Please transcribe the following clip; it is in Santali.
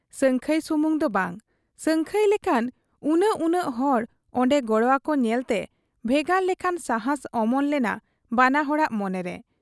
ᱥᱟᱹᱝᱠᱷᱟᱹᱭ ᱥᱩᱢᱩᱝ ᱫᱚ ᱵᱟᱝ, ᱥᱟᱹᱝᱠᱷᱟᱹᱭ ᱞᱮᱠᱟᱱ ᱩᱱᱟᱹᱜ ᱩᱱᱟᱹᱜ ᱦᱚᱲ ᱚᱱᱰᱮ ᱜᱚᱲᱚᱣᱟᱠᱚ ᱧᱮᱞᱛᱮ ᱵᱷᱮᱜᱟᱨ ᱞᱮᱠᱟᱱ ᱥᱟᱦᱟᱸᱥ ᱚᱢᱚᱱ ᱞᱮᱱᱟ ᱵᱟᱱᱟ ᱦᱚᱲᱟᱜ ᱢᱚᱱᱮᱨᱮ ᱾